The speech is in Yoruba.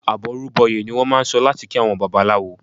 "Àbọrú bọyè" ni wọ́n máà ń sọ láti kí àwọn Babaláwo.